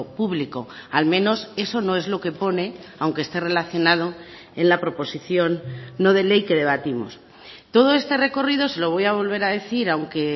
público al menos eso no es lo que pone aunque esté relacionado en la proposición no de ley que debatimos todo este recorrido se lo voy a volver a decir aunque